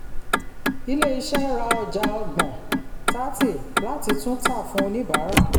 ilé-iṣẹ́ ra ọjà ọgbọn thirty láti tún tà fún oníbàárà.